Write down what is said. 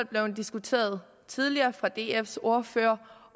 blevet diskuteret tidligere af dfs ordfører